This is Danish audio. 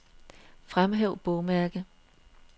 Fremhæv bogmærke.